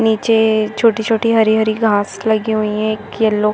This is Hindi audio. नीचे छोटी -छोटी हरी- हरी घास लगी हुई है एक येलो --